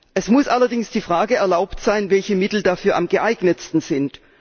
Es muss allerdings die Frage erlaubt sein, welche Mittel dafür am geeignetsten sind.